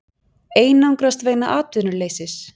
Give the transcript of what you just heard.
Einangrast vegna atvinnuleysis